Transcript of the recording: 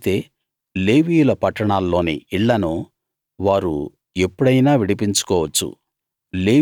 అయితే లేవీయుల పట్టణాల్లోని ఇళ్ళను వారు ఎప్పుడైనా విడిపించుకోవచ్చు